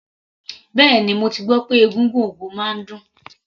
Bẹ́ẹ̀ni, mo ti gbọ́ pé egúngún ogo máa ń dùn.